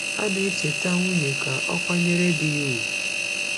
A na-echeta nwunye ka o kwanyere di ya ugwu.